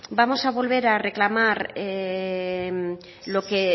vamos a volver a reclamar lo que